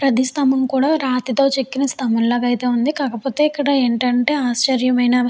ప్రతి స్తంభం కూడా రాతి తో చెక్కిన స్తంభం లాగా అయితే ఉంది. కాకపోతే ఇక్కడ ఏంటంటే ఆశ్చర్యకరమైన --